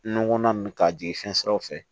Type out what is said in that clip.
Nɔnɔ ninnu ka jigin fɛn siraw fɛ